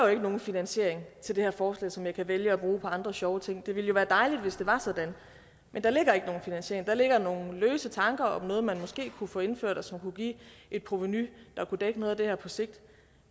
nogen finansiering til det her forslag som jeg kunne vælge at bruge på andre sjove ting det ville være dejligt hvis det var sådan men der ligger ikke nogen finansiering der ligger nogle løse tanker om noget man måske kunne få indført og som kunne give et provenu der kunne dække noget af det her på sigt